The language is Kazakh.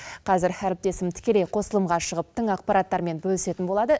қазір әріптесім тікелей қосылымға шығып тың ақпараттармен бөлісетін болады